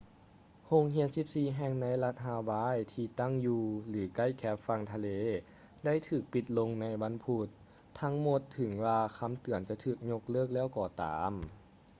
ໂຮງຮຽນສິບສີ່ແຫ່ງໃນລັດຮາວາຍທີ່ຕັ້ງຢູ່ ຫຼື ໃກ້ແຄມຝັ່ງທະເລໄດ້ຖືກປິດລົງໃນວັນພຸດທັງໝົດເຖິງວ່າຄຳເຕືອນຈະຖືກຍົກເລີກແລ້ວກໍຕາມ